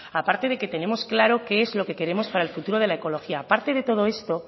aparte de que tenemos claro qué es lo que queremos para el futuro de la ecología aparte de todo esto